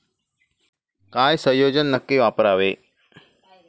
काय संयोजन नक्की वापरावे?